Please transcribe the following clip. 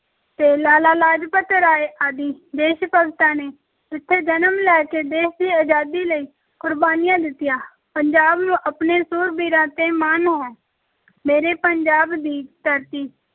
ਤੇ ਲਾਲਾ ਲਾਜਪਤ ਰਾਏ ਆਦਿ ਦੇਸ-ਭਗਤਾਂ ਨੇ ਇੱਥੇ ਜਨਮ ਲੈ ਕੇ ਦੇਸ਼ ਦੀ ਅਜ਼ਾਦੀ ਲਈ ਕੁਰਬਾਨੀਆਂ ਦਿੱਤੀਆਂ, ਪੰਜਾਬ ਨੂੰ ਆਪਣੇ ਸੂਰਬੀਰਾਂ ‘ਤੇ ਮਾਣ ਹੈ ਮੇਰੇ ਪੰਜਾਬ ਦੀ ਧਰਤੀ